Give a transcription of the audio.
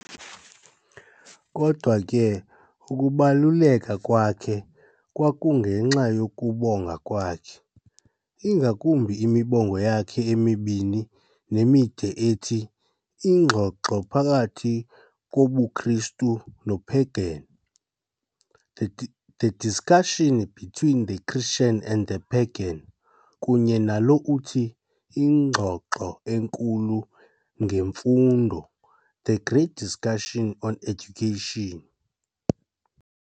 Kodwa ke ukubaluleka kwakhe kwakungenxa yokubonga kwakhe, ingakumbi imibongo yakhe emibini nemide ethi "Ingxoxo phakathi kobuKristu noPagan", "The Discussion between the Christian and the Pagan" kunye nalo uthi, "Ingxoxo enkulu ngeMfundo", "The Great Discussion on Education".